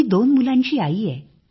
मी दोन मुलांची आई आहे